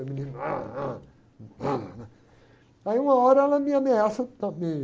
Aí o menino, aí uma hora ela me ameaça